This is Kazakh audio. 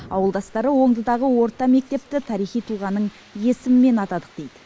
ауылдастары оңдыдағы орта мектепті тарихи тұлғаның есімімен атадық дейді